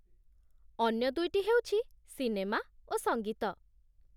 ଅନ୍ୟ ଦୁଇଟି ହେଉଛି ସିନେମା ଓ ସଙ୍ଗୀତ